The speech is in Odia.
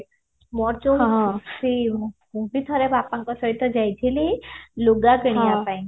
ମୋର ଯୋଉ ମୁଁ ବି ଠାରେ ବାପାଙ୍କ ସହିତ ଯାଇଥିଲି ଲୁଗା କିଣିବା ପାଇଁ